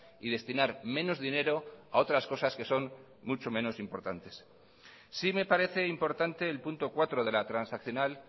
y destinar menos dinero a otras cosas que son mucho menos importantes sí me parece importante el punto cuatro de la transaccional